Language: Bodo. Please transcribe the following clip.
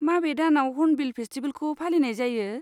माबे दानाव हर्नबिल फेस्टिबेलखौ फालिनाय जायो?